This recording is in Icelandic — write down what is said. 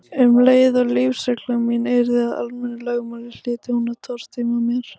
Um leið og lífsregla mín yrði að almennu lögmáli hlyti hún að tortíma mér.